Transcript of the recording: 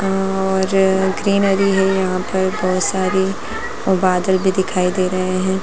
और ग्रीन हरी है यहां पर बहुत सारी और बादल भी दिखाई दे रहें है।